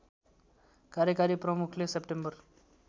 कार्यकारी प्रमुखले सेप्टेम्बर